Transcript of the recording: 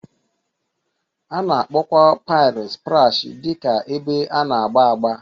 A na-akpọkwa paịlị splash dị ka ebe a na-agba agba